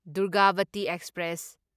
Durgavati express